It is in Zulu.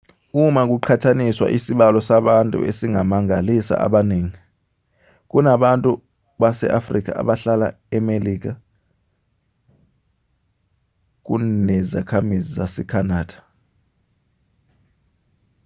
uma kuqhathaniswa isibalo sabantu esingamangalisa abaningi kunabantu base-afrika abahlala emelika kunezakhamuzi zase-canada